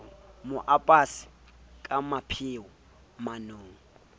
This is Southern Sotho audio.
mo apese ka mapheo manong